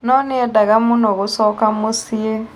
No nĩendaga mũno gũcoka mũciĩ.